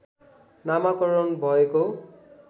नामाकरण भएको